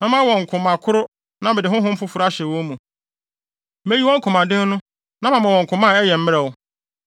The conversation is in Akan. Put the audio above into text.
Mɛma wɔn koma koro na mede honhom foforo ahyɛ wɔn mu; meyi wɔn komaden no na mama wɔn koma a ɛyɛ mmerɛw.